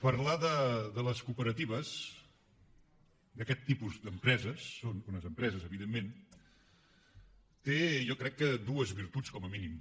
parlar de les cooperatives d’aquest tipus d’empreses són unes empreses evidentment té jo crec que dues virtuts com a mínim